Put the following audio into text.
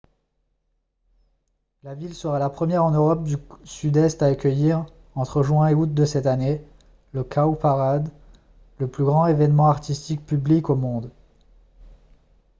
la ville sera la première en europe du sud-est à accueillir entre juin et août de cette année le cowparade le plus grand événement artistique public au monde